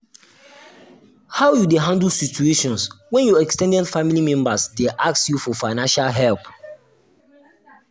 how um you dey handle situation when your um ex ten ded family members dey ask you for financial help? um